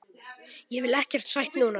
Kviknað í.